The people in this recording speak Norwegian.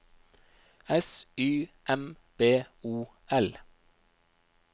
S Y M B O L